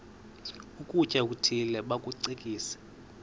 ukutya okuthile bakucekise